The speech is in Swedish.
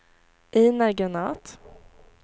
Ejnar Granath